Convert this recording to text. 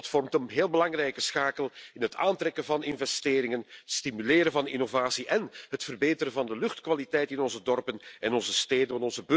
Dat vormt een heel belangrijke schakel in het aantrekken van investeringen, stimuleren van innovatie en het verbeteren van de luchtkwaliteit in onze dorpen en onze steden.